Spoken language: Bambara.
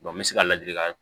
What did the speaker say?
n bɛ se ka ladilikan